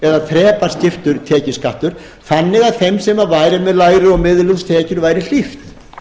eða þrepaskiptur tekjuskattur þannig að þeim sem væru með lægri og miðlungstekjur væri hlíft